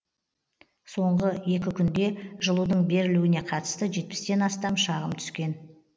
соңғы екі күнде жылудың берілуіне қатысты жетпістен астам шағым түскен